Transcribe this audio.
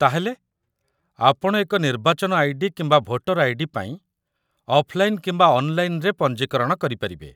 ତା'ହେଲେ, ଆପଣ ଏକ ନିର୍ବାଚନ ଆଇ.ଡି. କିମ୍ବା ଭୋଟର ଆଇ.ଡି. ପାଇଁ ଅଫ୍‌ଲାଇନ୍‌ କିମ୍ବା ଅନ୍‌ଲାଇନ୍‌‌ରେ ପଞ୍ଜୀକରଣ କରିପାରିବେ